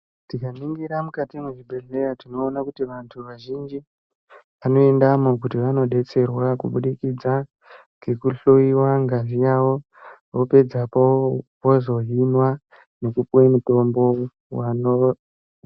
Tikaningira mukati zvibhedhleya tinoona kuti vantu vazhinji, vanoendamo kuti vanodetserwa kubudikidza, ngekuhloiwa ngazi yavo vopedzapo vozohinwa nekupuwe mitombo wano..